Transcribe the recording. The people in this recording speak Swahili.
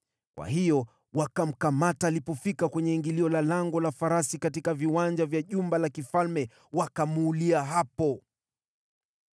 Kwa hiyo wakamkamata alipofika kwenye ingilio la Lango la Farasi katika viwanja vya jumba la mfalme wakamuulia hapo.